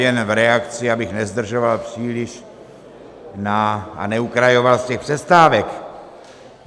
Jen v reakci, abych nezdržoval příliš a neukrajoval z těch přestávek.